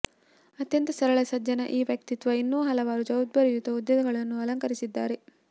ಅತ್ಯಂತ ಸರಳ ಸಜ್ಜನ ಈ ವ್ಯಕ್ತಿತ್ವ ಇನ್ನೂ ಹಲವಾರು ಜವಾಬ್ದಾರಿಯುತ ಹುದ್ದೆಗಳನ್ನು ಅಲಂಕರಿಸಿದ್ದಾರೆ